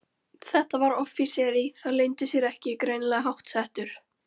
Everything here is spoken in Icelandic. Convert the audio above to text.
Þetta var offíseri, það leyndi sér ekki, greinilega háttsettur.